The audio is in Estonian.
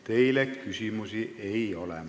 Teile küsimusi ei ole.